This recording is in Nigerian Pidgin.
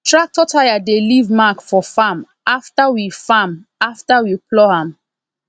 tractor tyre dey leave mark for farm after we farm after we plough am